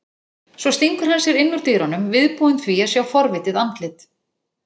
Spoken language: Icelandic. Svo stingur hann sér inn úr dyrunum, viðbúinn því að sjá forvitið andlit